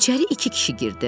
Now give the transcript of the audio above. İçəri iki kişi girdi.